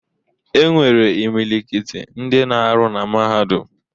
E nwere imilikiti ndị na-arụ na Mahadum.